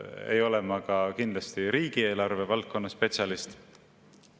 Ei ole ma ka kindlasti riigieelarve valdkonna spetsialist.